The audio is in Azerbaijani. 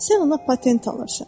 Sən ona patent alırsan.